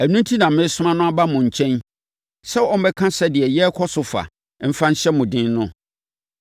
Ɛno enti na meresoma no aba mo nkyɛn sɛ ɔmmɛka sɛdeɛ yɛrekɔ so fa mfa nhyɛ mo den no.